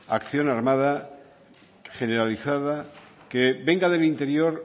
acción armada generalizada que venga del interior